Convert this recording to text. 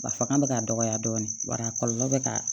A fanga bɛ ka dɔgɔya dɔɔni wa a kɔlɔlɔ bɛ ka